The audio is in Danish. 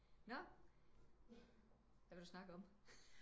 Nå hvad vil du snakke om